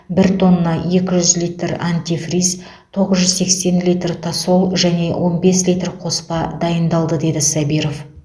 бір тонна екі жүз литр антифриз тоғыз жүз сексен литр тосол және он бес литр қоспа дайындалды деді сабиров